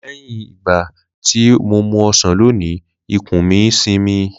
Leyin igbati o mu osan loni ikun mi isinmi.